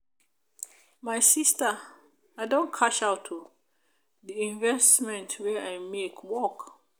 my sister i don cash out o. the investment wey i make work.